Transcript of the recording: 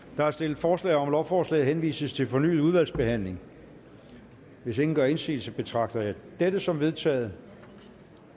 der er stillet forslag om at lovforslaget henvises til fornyet udvalgsbehandling hvis ingen gør indsigelse betragter jeg dette som vedtaget